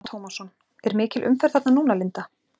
Telma Tómasson: Er mikil umferð þarna núna Linda?